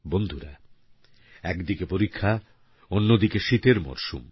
বন্ধুরা একদিকে পরীক্ষা অন্যদিকে শীতের মরশুম